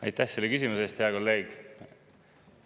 Aitäh selle küsimuse eest, hea kolleeg!